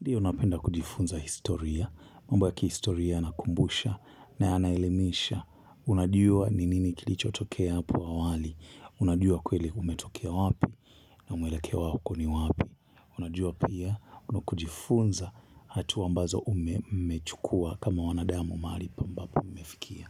Ndio napenda kujifunza historia, mambo ya kihistoria yana kumbusha na yanaelimisha, unajua ninini kilicho tokea hapo awali, unajua kweli umetokea wapi na mwelekea wako ni wapi, unajua pia unakojifunza hatuwa ambazo ume, mumechukua kama wanadamu mahali pambapo mumefikia.